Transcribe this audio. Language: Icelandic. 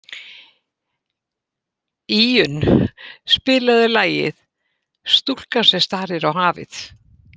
Íunn, spilaðu lagið „Stúlkan sem starir á hafið“.